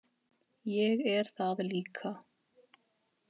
Ég er það líka.